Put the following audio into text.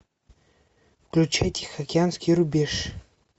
включи тихоокеанский рубеж